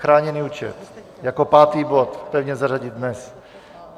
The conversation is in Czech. Chráněný účet, jako pátý bod, pevně zařadit dnes.